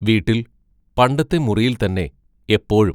വീട്ടിൽ പണ്ടത്തെ മുറിയിൽത്തന്നെ എപ്പോഴും....